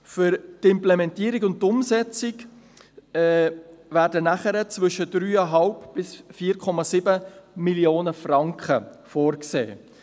Für die Implementierung und die Umsetzung werden zwischen 3,5–4,7 Mio. Franken vorgesehen.